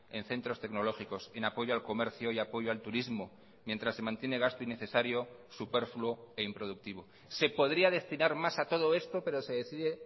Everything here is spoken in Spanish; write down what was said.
en centros tecnológicos en apoyo al comercio y apoyo al turismo mientras se mantiene gasto innecesario superfluo e improductivo se podría destinar más a todo esto pero se decide